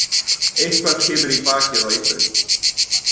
Eitthvað kemur í bakið á einhverjum